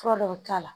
Fura dɔ bi k'a la